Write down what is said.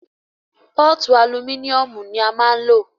Pọ́ọ̀tu alumíníùmù ní a máà ń lò.